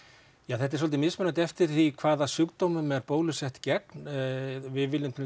þetta er dálítið mismunandi eftir því hvaða sjúkdómum er bólusett gegn við viljum til